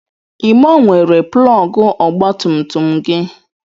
I gbanwere plọgụ ọgba tum tum gị?